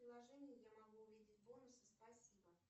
в приложении я могу увидеть бонусы спасибо